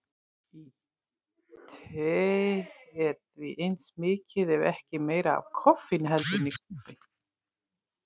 Í tei er því eins mikið ef ekki meira af koffeini heldur en í kaffi.